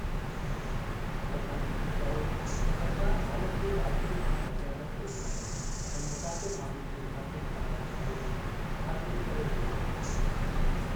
प्रधानमंत्री चयो त सरकार हालति ते बारीक़ीअ सां नज़र रखी रही आहे ऐं मुतासिर माण्हुनि जी मुनासिब सार-संभाल जी ख़ातिरी करे रही आहे।